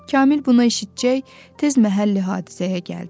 Kamil buna eşitcək, tez məhəll hadisəyə gəldi.